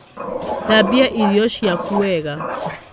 Thabia irio ciaku wega.